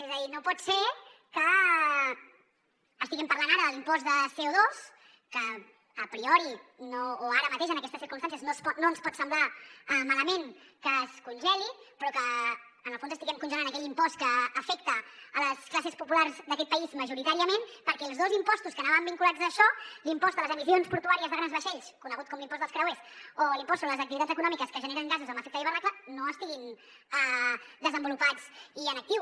és a dir no pot ser que estiguem parlant ara de l’impost de coara mateix en aquestes circumstàncies no ens pot semblar malament que es congeli però que en el fons estiguem congelant aquell impost que afecta les classes populars d’aquest país majoritàriament perquè els dos impostos que anaven vinculats a això l’impost a les emissions portuàries de grans vaixells conegut com l’ impost dels creuers o l’impost sobre les activitats econòmiques que generen gasos amb efecte d’hivernacle no estiguin desenvolupats i en actiu